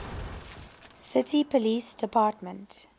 city police department